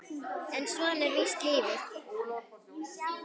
En svona er víst lífið.